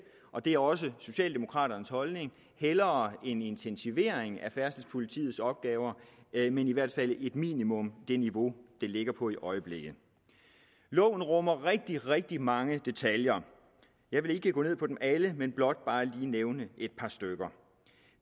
og det er også socialdemokraternes holdning hellere en intensivering af færdselspolitiets opgaver men i hvert fald som minimum det niveau det ligger på i øjeblikket loven rummer rigtig rigtig mange detaljer jeg vil ikke gå ned i dem alle men blot lige nævne et par stykker